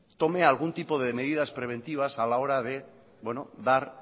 tome algún tipo de medidas preventivas a la hora de dar